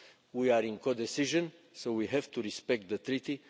We are in co-decision, so we have to respect the Treaty.